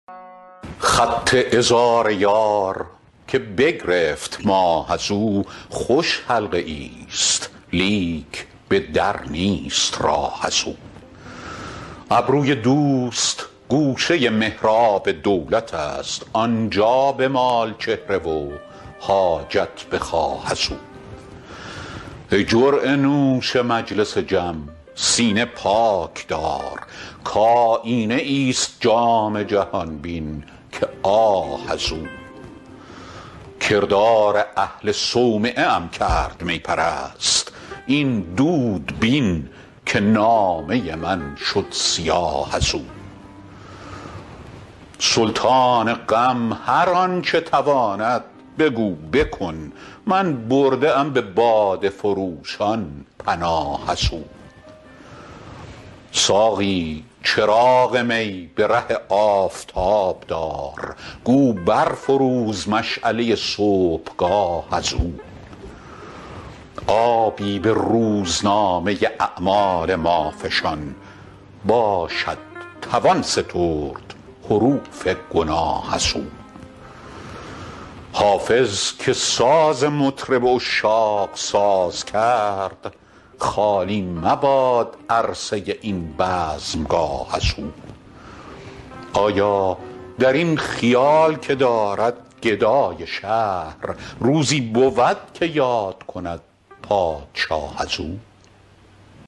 خط عذار یار که بگرفت ماه از او خوش حلقه ای ست لیک به در نیست راه از او ابروی دوست گوشه محراب دولت است آن جا بمال چهره و حاجت بخواه از او ای جرعه نوش مجلس جم سینه پاک دار کآیینه ای ست جام جهان بین که آه از او کردار اهل صومعه ام کرد می پرست این دود بین که نامه من شد سیاه از او سلطان غم هر آن چه تواند بگو بکن من برده ام به باده فروشان پناه از او ساقی چراغ می به ره آفتاب دار گو بر فروز مشعله صبحگاه از او آبی به روزنامه اعمال ما فشان باشد توان سترد حروف گناه از او حافظ که ساز مطرب عشاق ساز کرد خالی مباد عرصه این بزمگاه از او آیا در این خیال که دارد گدای شهر روزی بود که یاد کند پادشاه از او